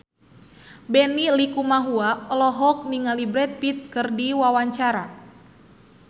Benny Likumahua olohok ningali Brad Pitt keur diwawancara